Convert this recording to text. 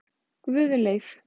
Guðleif